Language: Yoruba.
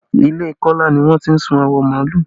Ilé Kola ni wọ́n ti sun awọ màálù